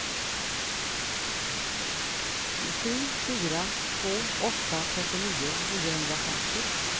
sju fyra två åtta trettionio niohundrafemtio